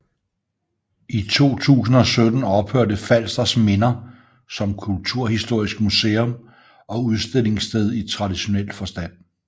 I 2017 ophørte Falsters Minder som kulturhistorisk musum og udstillingssted i traditionel forstand